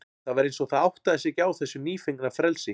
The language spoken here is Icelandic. Það var eins og það áttaði sig ekki á þessu nýfengna frelsi.